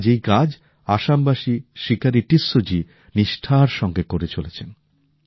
আজ এই কাজ আসামবাসী শিকারি টিসসো জী নিষ্ঠার সঙ্গে করে চলেছেন